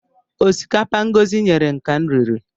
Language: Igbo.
Ọsikapa Ngọzi nyere m ka m riri